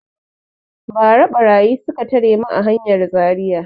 Ba ra ɓarayi suka tare mu a hanyar Zaria